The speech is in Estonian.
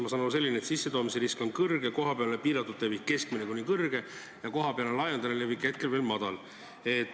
Ma saan aru, nakkuse sissetoomise risk on suur, kohapealne piiratud levik on keskmine kuni suur ja kohapealne laialdane levik hetkel veel väike.